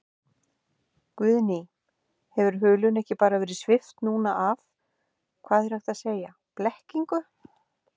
Guðný: Hefur hulunni ekki bara verið svipt núna af, hvað er hægt að segja, blekkingu?